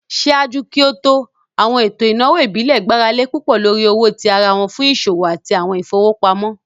Ṣaaju ki o to, awọn eto inawo ibile gbarale pupọ lori owo ti ara fun awọn iṣowo ati awọn ifowopamọ.